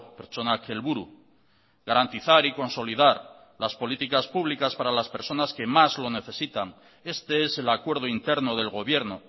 pertsonak helburu garantizar y consolidar las políticas públicas para las personas que más lo necesitan este es el acuerdo interno del gobierno